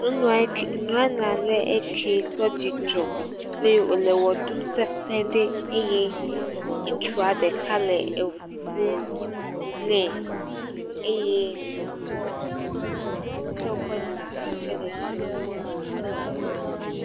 Nyɔnua eke, nyɔnu ale ekee kpɔ dzidzɔ eye wòle wɔ ɖum sesẽ ɖe eye ŋutsua ɖeka le eŋu ƒom nɛ eye ame kewo tsɛ dzina ha tsɛ le fi mi